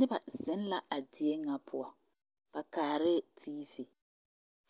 Noba zeŋ la a die na poʊ. Ba kaareɛ TV.